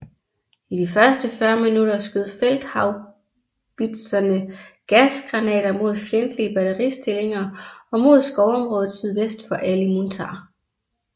I de første 40 minutter skød felt haubitserne gasgranater mod fjendtlige batteristillinger og mod skovområdet sydvest for Ali Muntar